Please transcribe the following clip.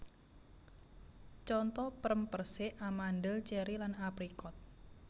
Conto prem persik amandel ceri lan aprikot